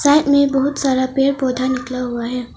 में बहुत सारा पेड़ पौधा निकला हुआ है।